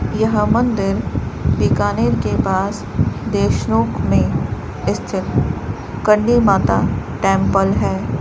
यह मंदिर बीकानेर के पास देशनोक में स्थित करणी माता टेंपल है।